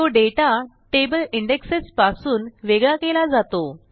तो data table indexes पासून वेगळा केला जातो